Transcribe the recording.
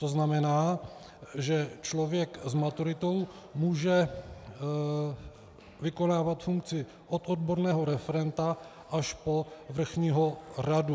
To znamená, že člověk s maturitou může vykonávat funkci od odborného referenta až po vrchního radu.